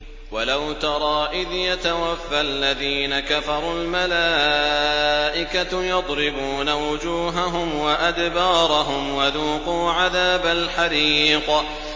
وَلَوْ تَرَىٰ إِذْ يَتَوَفَّى الَّذِينَ كَفَرُوا ۙ الْمَلَائِكَةُ يَضْرِبُونَ وُجُوهَهُمْ وَأَدْبَارَهُمْ وَذُوقُوا عَذَابَ الْحَرِيقِ